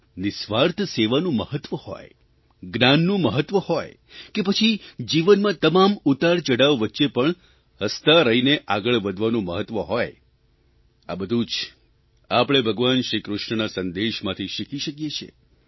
નિઃસ્વાર્થ સેવાનું મહત્વ હોય જ્ઞાનનું મહત્વ હોય કે પછી જીવનમાં તમામ ઉતારચઢાવ વચ્ચે પણ હસતા રહીને આગળ વધવાનું મહત્વ હોય આ બધું જ આપણે ભગવાન શ્રીકૃષ્ણના સંદેશમાંથી શીખી શકીએ છીએ